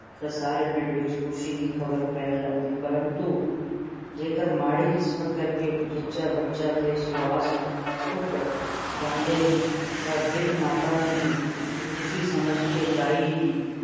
ਤਾਂ ਸਾਰੇ ਪਿੰਡ ਵਿੱਚ ਖੁਸ਼ੀ ਦੀ ਖਬਰ ਫੈਲ ਜਾਂਦੀ ਪਰੰਤੂ ਜੇਕਰ ਮਾੜੀ ਕਿਸਮਤ ਕਰਕੇ ਜੱਚਾ ਬੱਚਾ ਦੇ ਸਵਾਸ ਘੁੱਟ ਜਾਂਦੇ ਤਾਂ ਵਿੱਦ ਮਾਤਾ ਨੂੰ ਰੁੱਸੀ ਸਮਝ ਕੇ ਦਾਈ ਦੀ